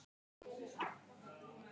Gerðir allt fyrir mig.